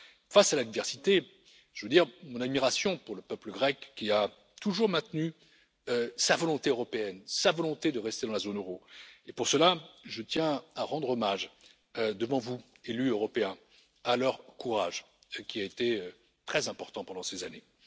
Face à l'adversité, je veux dire mon admiration pour le peuple grec qui a toujours maintenu sa volonté européenne, sa volonté de rester dans la zone euro et pour cela, je tiens à rendre hommage devant vous, élus européens, à leur courage qui a été très important pendant ces années.